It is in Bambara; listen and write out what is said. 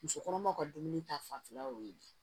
Muso kɔnɔmaw ka dumuni ta fanfɛla y'o ye